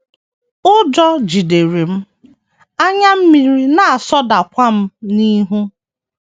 Ụjọ jidere m, anya mmiri na - asọdakwa m n’ihu.